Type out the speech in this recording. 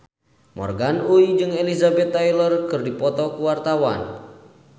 Morgan Oey jeung Elizabeth Taylor keur dipoto ku wartawan